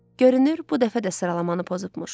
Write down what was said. Görünür, bu dəfə də sıralamanı pozubmuş.